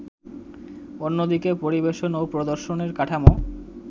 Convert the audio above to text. অন্যদিকে পরিবেশন ও প্রদর্শনের কাঠামো